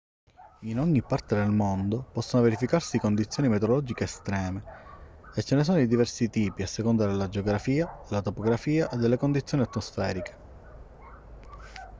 in ogni parte del mondo possono verificarsi condizioni meteorologiche estreme e ce ne sono di diversi tipi a seconda della geografia della topografia e delle condizioni atmosferiche